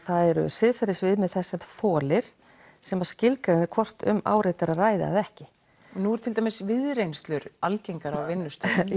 siðferðisviðmið þess sem þolir sem skilgreinir hvort um áreiti sé að ræða eða ekki nú er til dæmis algengar á vinnustöðum